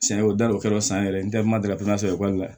San o da o kɛr'o san yɛrɛ ye ntɛri ma deli ka ekɔli la